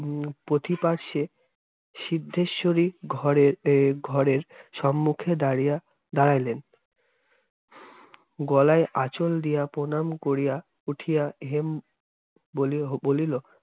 উম পথিপার্শে সিদ্ধেশ্বরী ঘরে- এর ঘরের সম্মুক্ষে দাড়িয়া দাড়াইলেন গলায় আঁচল দিয়া প্রণাম করিয়া উঠিয়া হেম বলি~ বলিল,